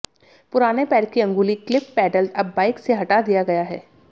पुराने पैर की अंगुली क्लिप पेडल अब बाइक से हटा दिया गया है